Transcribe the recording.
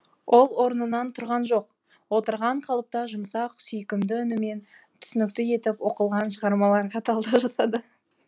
ол орнынан тұрған жоқ отырған қалыпта жұмсақ сүйкімді үнімен түсінікті етіп оқылған шығармаларға талдау жасады